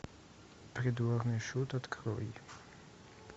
придворный шут открой